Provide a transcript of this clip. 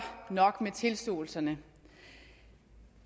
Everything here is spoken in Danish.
nok med tilståelserne